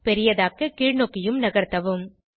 பெரியதாக்க கீழ்நோக்கியும் நகர்த்தவும்